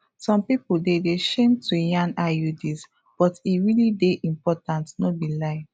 some pipo dey de shame to yan iuds but e realli dey important no be lai